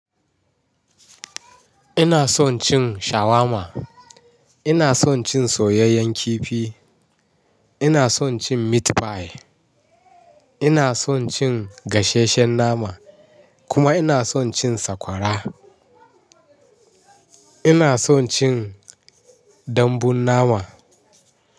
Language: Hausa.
Ina son cin shawarma, ina son cin soyayyen kifi, ina son cin meat pie, ina son cin gasheshshen nama kuma ina son cin sakwara. Ina son cin dambun nama.